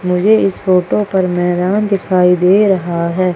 मुझे इस फोटो पर मैदान दिखाई दे रहा है।